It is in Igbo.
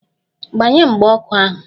Gbanye mgba ọkụ ahu!